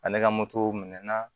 Ani ka motow minɛ na